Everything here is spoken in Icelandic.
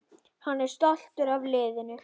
Hann er stoltur af liðinu.